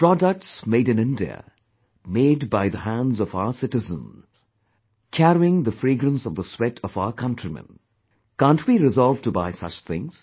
Products made in India, made by the hands of our citizens, carrying the fragrance of the sweat of our countrymen, can't we resolve to buy such things